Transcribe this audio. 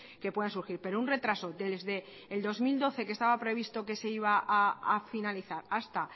que puedan surgir pero un retraso desde el dos mil doce que estaba previsto que se iba a finalizar hasta